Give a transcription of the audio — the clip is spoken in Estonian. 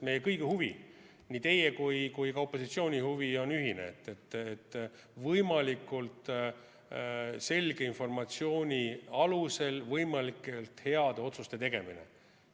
Meie kõigi, nii teie kui ka opositsiooni huvi on ühine: võimalikult selge informatsiooni alusel võimalikult heade otsuste tegemine.